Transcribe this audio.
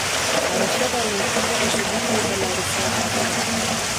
Barashada luqad cusub waxay ballaarisaa aragtida.